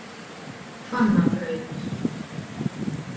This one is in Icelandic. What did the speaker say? Hvannabraut